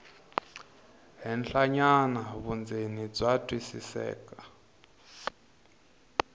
henhlanyana vundzeni bya twisiseka